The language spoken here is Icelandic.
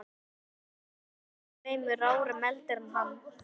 Nonni var tveimur árum eldri en hann.